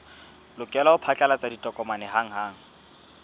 lokela ho phatlalatsa ditokomane hanghang